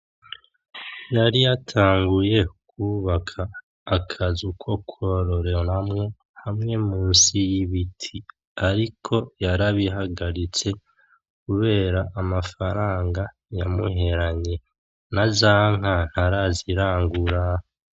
Yari yatanguye kwubaka akazu ko kwororeramwo hamwe musi y'ibiti ariko yarabihagaritse kubera amafaranga yamuheranye. Naza nka ntarazirangura.